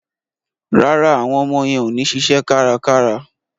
Rárá, àwọn ọmọ yẹn ò ní ṣiṣẹ́ kárakára.